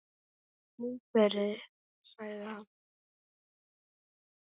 Komdu inn fyrir, sagði hann.